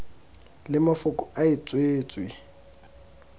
le mafoko a e tswetswe